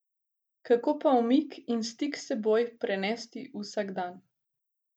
Kako pa umik in stik s seboj prenesti v vsakdan?